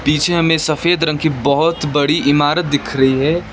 पीछे हमें सफेद रंग की बहोत बड़ी इमारत दिख रही है।